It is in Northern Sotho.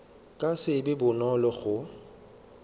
ka se be bonolo go